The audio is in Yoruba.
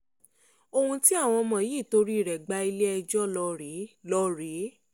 ohun tí àwọn ọmọ yìí torí rẹ̀ gba ilé-ẹjọ́ ló rèé ló rèé